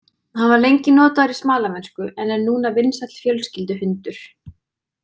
Hann var lengi notaður í smalamennsku en er núna vinsæll fjölskylduhundur.